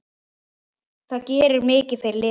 Það gerir mikið fyrir liðið.